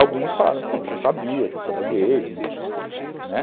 Alguns falaram, eu já sabia que você era gay, né.